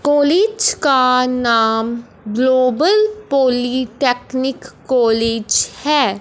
College का नाम global polytechnic college है।